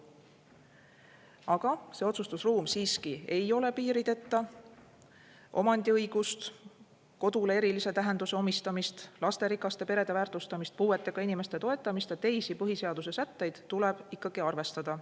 Aga see otsustusruum siiski ei ole piirideta: omandiõigust, kodule erilise tähenduse omistamist, lasterikaste perede väärtustamist, puuetega inimeste toetamist ja teisi põhiseaduse sätteid tuleb ikkagi arvestada.